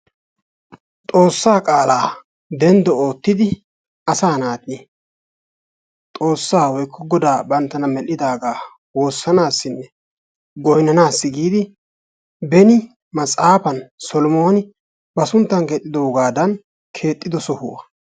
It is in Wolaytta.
Xoossaa qaala denddo oottidi asaa naati Xoossa woykko goda banttana mel"idaagaa woossanassinne goynnanassi giidi beni maxaafan Solomoni ba sunttan eexxidoogadan keexxido sohuwaa.